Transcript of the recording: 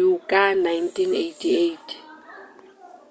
uw ka 1988